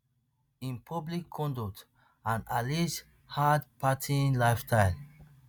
im public conduct and alleged hardpartying lifestyle